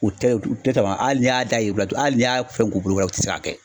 U tɛ u tɛ tama ali n'i y'a da i yiriw, hali n'i y'a fɛn k'u bolo kɔrɔɔ u tɛ se ka kɛ.